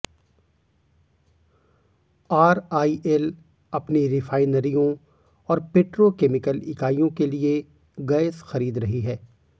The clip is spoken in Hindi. आरआईएल अपनी रिफाइनरियों और पेट्रोकेमिकल इकाइयों के लिए गैस खरीद रही है